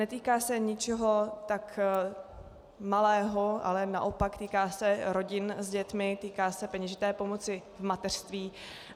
Netýká se ničeho tak malého, ale naopak, týká se rodin s dětmi, týká se peněžité pomoci v mateřství.